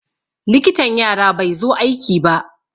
Likitan yara bai zo aiki ba.